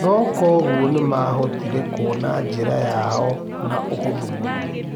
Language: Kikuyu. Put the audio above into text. Na koguo nĩmahotire kũmĩona njĩra yao na ũhũthũ mũno.